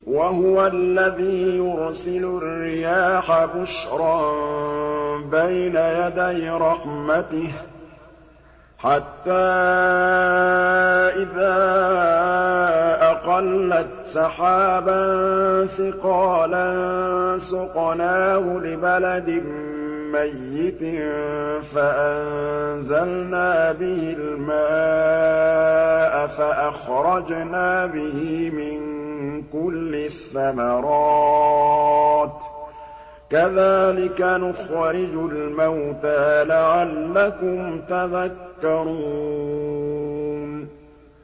وَهُوَ الَّذِي يُرْسِلُ الرِّيَاحَ بُشْرًا بَيْنَ يَدَيْ رَحْمَتِهِ ۖ حَتَّىٰ إِذَا أَقَلَّتْ سَحَابًا ثِقَالًا سُقْنَاهُ لِبَلَدٍ مَّيِّتٍ فَأَنزَلْنَا بِهِ الْمَاءَ فَأَخْرَجْنَا بِهِ مِن كُلِّ الثَّمَرَاتِ ۚ كَذَٰلِكَ نُخْرِجُ الْمَوْتَىٰ لَعَلَّكُمْ تَذَكَّرُونَ